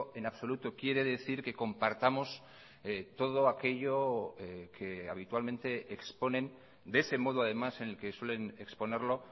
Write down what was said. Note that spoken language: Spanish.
en absoluto quiere decir que compartamos todo aquello que habitualmente exponen de ese modo además en el que suelen exponerlo